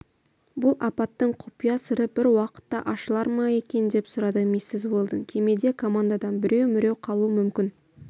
бұл апаттың құпия сыры бір уақытта ашылар ма екен деп сұрады миссис уэлдон кемеде командадан біреу-міреу қалуы мүмкін